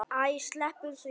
Æ, sleppum því.